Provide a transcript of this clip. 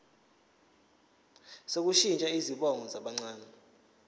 sokushintsha izibongo zabancane